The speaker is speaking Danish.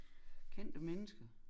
Kendte mennesker